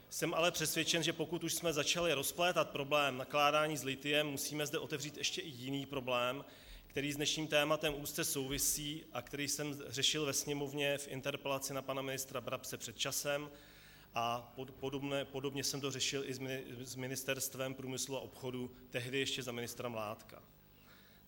Jsem ale přesvědčen, že pokud už jsme začali rozplétat problém nakládání s lithiem, musíme zde otevřít ještě i jiný problém, který s dnešním tématem úzce souvisí a který jsem řešil ve Sněmovně v interpelaci na pana ministra Brabce před časem, a podobně jsem to řešil i s Ministerstvem průmyslu a obchodu, tehdy ještě za ministra Mládka.